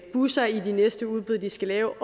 busser i de næste udbud de skal lave